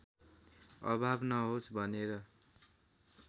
अभाव नहोस् भनेर